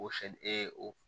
O sɛ e o